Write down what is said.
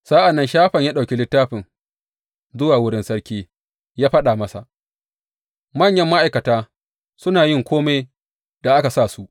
Sa’an nan Shafan ya ɗauki littafin zuwa wurin sarki, ya faɗa masa, Manyan ma’aikatanka suna yin kome da aka sa su.